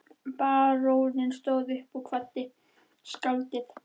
Baróninn stóð upp og kvaddi skáldið.